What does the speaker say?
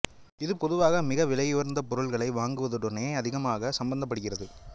இது பொதுவாக மிக விலையுயர்ந்த பொருள்களை வாங்குவதுடனே அதிகமாக சம்பந்தப்படுகிறது